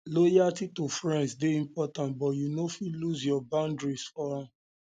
loyalty to friends dey important but you no fit lose your boundaries for am